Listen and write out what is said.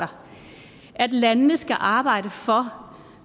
at landene skal arbejde for